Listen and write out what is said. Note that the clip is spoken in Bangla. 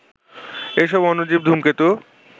এসব অণুজীব ধূমকেতু